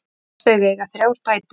Þau eiga þrjár dætur.